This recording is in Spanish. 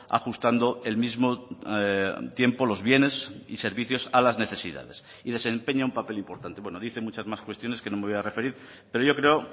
ajustando el mismo tiempo los bienes y servicios a las necesidades y desempeña u papel importante bueno dice muchas más cuestiones que no me voy a referir pero yo creo